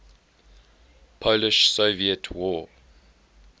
polish soviet war